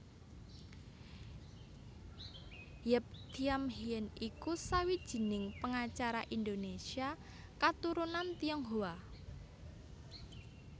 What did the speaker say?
Yap Thiam Hien iku sawijining pengacara Indonésia katurunan Tionghoa